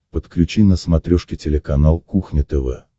подключи на смотрешке телеканал кухня тв